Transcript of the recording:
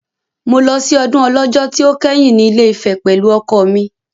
Mo lọ sí ọdún Ọlọ́jọ́ tí ó kẹ́yìn ní Ilé-Ifẹ̀ pẹ̀lú ọkọ mi.